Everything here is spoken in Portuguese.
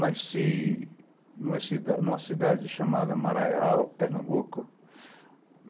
Nasci numa cidade chamada Maraial, Pernambuco.